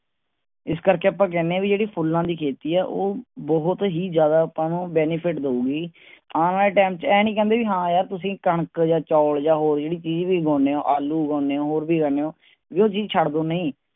ਇਸ ਕਰ ਕੇ ਆਪਾਂ ਕਹਿੰਦੇ ਹਾਂ ਆਹ ਜਿਹੜੀ ਫੁਲਾਂ ਦੀ ਖੇਤੀ ਹੈ ਉਹ ਬਹੁਤ ਹੀ ਜ਼ਿਆਦਾ ਆਪਾਂ ਨੂੰ benefit ਦੇਊਂਗੀ। ਆਨ ਵਾਲੇ ਟਾਈਮ ਚ ਆਈ ਨੀ ਕਹਿੰਦੇ ਹਾਂ ਯਾਰ ਜੇ ਕਣਕ ਜਾ ਚਾਵਲ ਜਾ ਹੋਰ ਜਿਹੜੀ ਚੀਜ ਵੀ ਉਗਾਉਣੇ ਹੋ ਆਲੂ ਉਗਾਉਣੇ ਹੋ ਹੋਰ ਕੁਛ ਉਗਾਉਣੇ ਹੋ ਉਹ ਚੀਜ ਛੱਡ ਦਿਯੋ ਨਹੀਂ